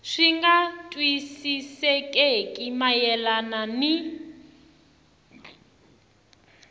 swi nga twisisekeki mayelana ni